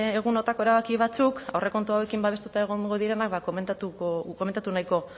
egunotako erabaki batzuk aurrekontu hauekin babestuta egongo direnak ba komentatu nahiko